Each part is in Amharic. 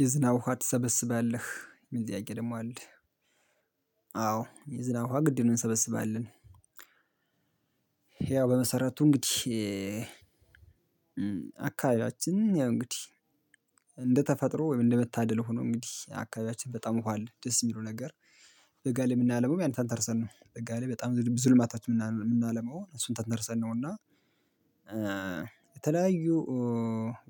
የዝናብ ውሃ ትሰበስባለህ የሚል ጥያቄ ደግሞ አለ? አዎ የዝናብ ውሃ ግድ እንሰበስባለን። በመሰረቱ እንግዲህ አካባቢያችን ያው እንግዲህ እንደ ተፈጥሮ ወይም እንደ መታደል ሆኖ እንግዲህ አካባቢያችን በጣም ውሃ አለ ደስ የሚለው ነገር። በጋ ላይ የምናለውም ያን ተንተርሰን ነው በጋ ላይ በጣም ብዙ ልማታች የምናለው እሱን ተንተርሰን ነው እና። የተለያዩ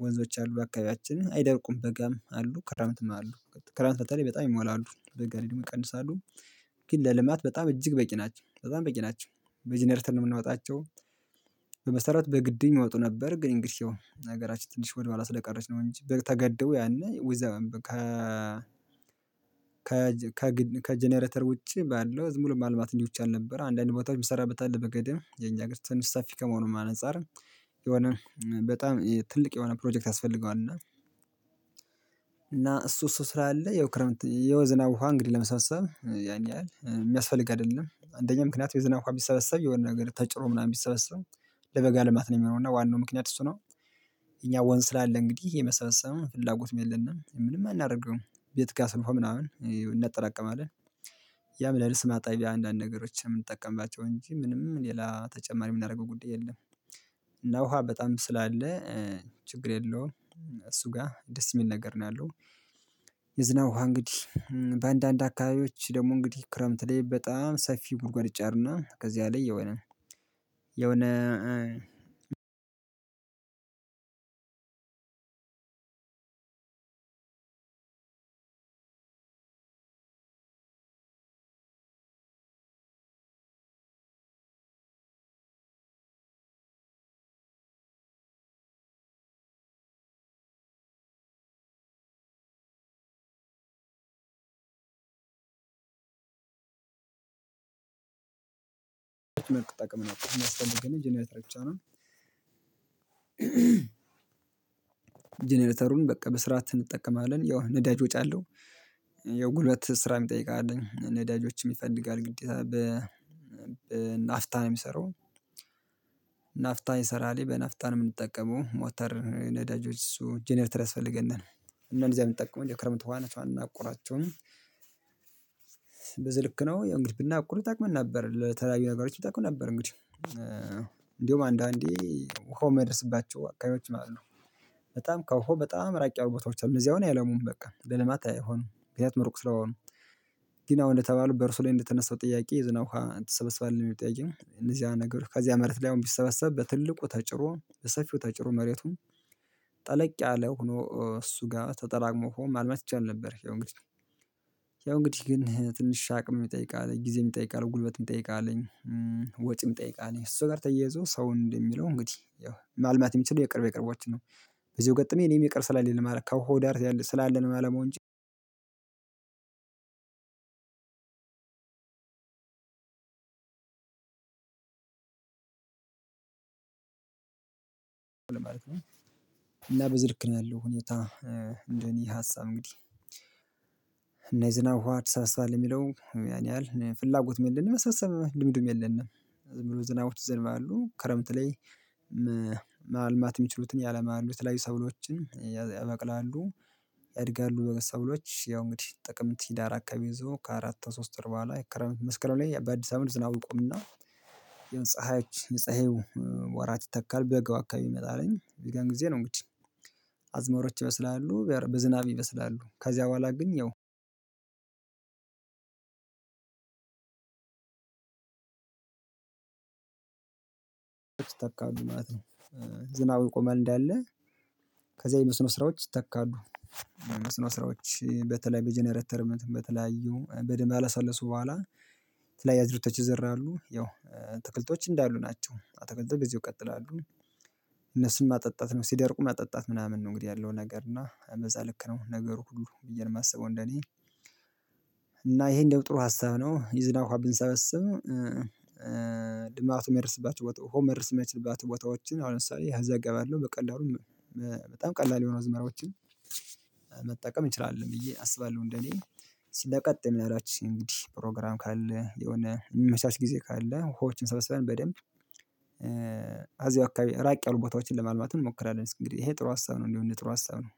ወንዞች አሉ አካባቢያችን አይደርቁም በጋም አሉ ክረምትም አሉ ክረምት በተለይ በጣም ይሞላሉ በጋ ላይ ደግሞ ይቀንሳሉ። ግን ለልማት በጣም እጅግ በቂ ናቸው በጣም በቂ ናቸው በጄኔረተር ነው የምንወጣቸው። በመሰረት በግድ የሚወጡ ነበር ግን እንግዲህ አሁን ሀገራችን ትንሽ ወደ በኋላ ስለቀረች ነው እንጂ በቃ ተገደቦ ያኔ ወይዘር። ከ ከ ከ ውጪ ባለው ዝም ብሎ ማልማት ይቻል ነበረ አንዳንድ ቦታዎችም ቢሰራበት በገዳም የኛ ጋር ተንሳፊ ከመሆኑ አንፃር። የሆነ በጣም ትልቅ የሆነ ፕሮጀክት ያስፈልገዋል እና። እሱ እሱ ስራ አለ የው ክረምት የው ዝናብ ውሃ እንግዲህ ለመሰብሰብ ያን ያህል የሚያስፈልግ አይደለም አንደኛ ምክንያት የዝናብ ውሃ ቢሰበሰብ የሆነ ነገር ተጭኖ ምናምን የሚሰበስበው ለበጋ ልማት ነው የሚሆነው እና ዋናው ምክንያት እሱ ነው። እኛ ወንዝ ስላለ እንግዲህ የመሰብሰብም ፍላጎት የለንም ምንም አናደርገውም ቤት ጋር ስንኳን ምናምን እናጠራቅማለን። ያም ለርስ ማጣቢያ አንዳንድ ነገሮችን የምንጠቀምባቸው እንጂ ምንም ሌላ ተጨማሪ የምናደርገው ጉዳይ የለም። እና ውሃ በጣም ስላለ ችግር የለውም። እሱ ጋር ደስ የሚል ነገር ነው ያለው። የዝናብ ውሃ እንግዲህ በአንዳንድ አካባቢዎች ደግሞ እንግዲህ ክረምት ላይ በጣም ሰፊ ጉድጓድ ይጫርና ከዚህ አለኝ የሆነ የሆነ አንድ አንድ መልክ ጠቅመናል የሚያስፈልገንም ጄኔረተር ብቻ ነው። ጀነሬተሩን በቃ በስራት እንጠቀማለን ያው ነዳጅ ወጪ አለው። የጉልበት ስራ የሚጠይቅ አለኝ ነዳጆችም ይፈልጋል ግዴታ በ በናፍጣ ነው የሚሰራው። ናፍጣ ይሰራል በናፍጣ ነው የምጠቀመው ሞተር ነዳጆች እሱ ጄኔርተር ያስፈልገናል። እነዚህ አይጠቅመኝም ክረምት ሆና እንድናቆራቸው። በዚህ ልክ ነው እንግዲህ ብናቆር ይጠቅመን ነበር ለተለያዩ ነገሮች ይታወቁ ነበር እንግዲህ። እንዲሁ አንዳንዴ ኮ ወሃ ማይደርስባቸው አካባቢዎች ማለት ነው። በጣም ከውሃ በጣም ራቂ አብሮታዎች አሉ እዚያው አሁን የአይለሙም በቃ ለልማት አይሆንም ምክንያቱም ሩቅ ስለሆኑ። ግን አሁን እንደተባሉ በእርሱ ላይ እንደተነሳው ጥያቄ ዝናብ ውሃ ትሰበስባለህ የሚለው ጠያቄ እነዚህ ነገሮች ከዚያ ምድር ላይ አሁን ቢሰበሰብ በትልቁ ተጭሮ በሰፊው ተጭሮ መሬቱን። ጠለቅ ያለ ሆኖ እሱ ጋር ተጠራቅሞ ሆኖ ማለት ይቻላል ነበር ያው እንግዲህ። ያው እንግዲህ ግን ትንሽ ሻቅ የሚጠይቅ አለኝ ጊዜ የምጠይቅ አለኝ ጉልበት የምጠይቅ አለኝ። ወጪ የምጠይቅ አለኝ እሱ ጋር ተያይዞ ሰው እንደሚለው እንግዲህ ያው ማልማት የሚችሉ የቅርብ የቅርቦችን ነው። በዚህ ገጠመኝ እኔም ይቅር ስላለን ከሆዳር ስላለን አለመሆን አለ ማለት ነው። እና በዝርክ ነው ያለው ሁኔታ። እንደኔ ሀሳብ እንግዲህ እና የዝናብ ትሰበስባለህ የሚለው ያን ያህል ፍላጎትም የለንም የመሳሰሉትም ልምድም የለንም። ዝም ብሎ ዝናቦች ዝም አሉ ክረምት ላይ። ማልማት የሚችሉትን ያለማሉ ላይ ሰብሎችን ያበቅላሉ። ያድጋሉ በሰብሎች ያው እንግዲህ ጥቅምት ህዳር አካባቢ ይዞ ከአራት ከሶስት ወር ቦኃላ ላይ ክረምት መስከረም ላይ በአዲስ አበባ ዝናቡ ይቆምና። የምጽሃዎች የምጽህዎች ወራት ይተካል በጋ አካባቢ ይመጣልኝ የዛን ጊዜ ነው እንግዲህ። አዝመሮች ይበስላሉ በዝናብ ይበስላሉ ከዚያ በኋላ ግን ያው። ይተካሉ ማለት ነው ዝናቡ ይቆማል እንዳለ። ከዛ የመስኖ ስራዎች ይተካሉ። የመስኖ ስራዎች በተለይ በጄኔረተር በተለያዩ በደንብ አላሰለሱ በኋላ። ተለያይ ያዝርተው ተች ይዘራሉ ያው አተክልቶች እንዳሉ ናቸው አተክልቶች እዚህ ይቀጥላሉ። እነሱን ማጠጣት ነው ሲደርቁ ማጠጣት ምናምን ነው እንግዲህ ያለው ነገር እና እንደዛ ልክ ነው ነገሩ ሁሉ ብዬ ነው የማስበው እንደኔ። እና ይሄ እንደው ጥሩ ሀሳብ ነው የዝናብ ውሃ ብንሰበስብ። ልማት የማይርስባቸው ውሃው የማይርስባቸው ቦታዎችን አሁን ለምሳሌ ያዘጋባል በቀላሉ። በጣም ቀላል የሆኑ አዝመራዎችን ይችላል ብዬ አስባለሁ እንደኔ። ስለቀጠመኝ አላችሁ እንግዲህ ፕሮግራም ካለ የሆነ የሚመቻች ጊዜ ካለ ውሃዎችን ሰብስበን በደንብ። አዚያ አካባቢ ራቅ ያሉ ቦታዎችን ለማልማት እንሞክራለን። እስኪ ይሄ ጥሩ ሀሳብ ነው እንዲሁ እንደው ጥሩ ሀሳብ ነው።